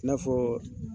I n'a fɔ